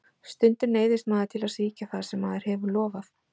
Stundum neyðist maður til að svíkja það sem maður hefur lofað.